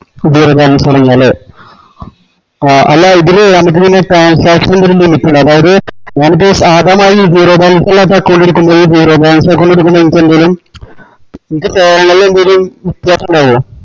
പുതിയൊരു തുടങ്ങിയാല് ആ അല്ല ഇതില് നമുക്ക് പിന്നെ transaction ഒര് limit ഇല്ലേ അതായത് ഞാനിപ്പോ zero balance ഇല്ലാത്ത account എടുക്കുമ്പോഴും zero balance account ഇണ്ടാവോ.